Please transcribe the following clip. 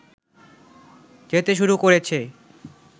যেতে শুরু করেছে